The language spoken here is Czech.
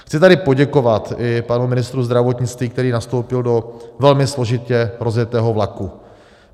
Chci tady poděkovat i panu ministru zdravotnictví, který nastoupil do velmi složitě rozjetého vlaku.